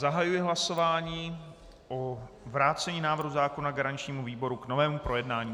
Zahajuji hlasování o vrácení návrhu zákona garančnímu výboru k novému projednání.